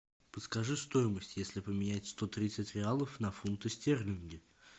подскажи стоимость если поменять сто тридцать реалов на фунты стерлинги